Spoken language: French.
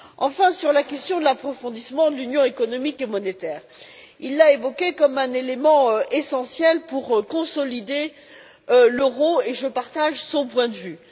Concernant la question de l'approfondissement de l'Union économique et monétaire, il l'a évoquée comme un élément essentiel pour consolider l'euro et je partage son point de vue.